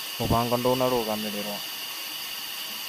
Mũbango ndũnarũgamĩrĩrwo